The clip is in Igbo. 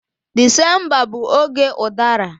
Disemba bụ oge udara.